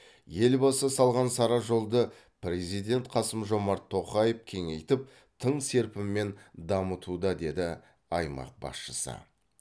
елбасы салған сара жолды президент қасым жомарт тоқаев кеңейтіп тың серпінмен дамытуда деді аймақ басшысы